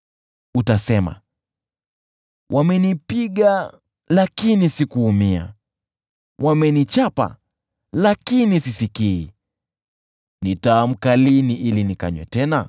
Utasema, “Wamenipiga lakini sikuumia! Wamenichapa, lakini sisikii! Nitaamka lini ili nikanywe tena?”